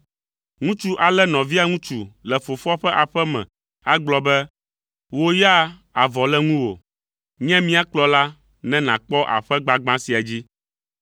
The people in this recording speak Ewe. Ŋutsu alé nɔvia ŋutsu le fofoa ƒe aƒe me agblɔ be, “Wò ya avɔ le ŋuwò, nye mia kplɔla ne nàkpɔ aƒe gbagbã sia dzi.”